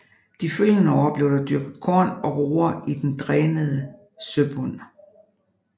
De følgende år blev der dyrket korn og roer i den drænede søbund